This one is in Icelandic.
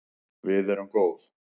Við erum góð